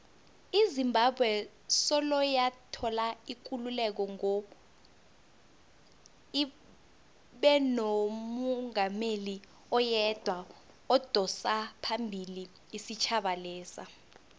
izimbabwe soloyathola ikululeko ngo ibenomungameli oyedwa odosaphambili isitjhaba lesa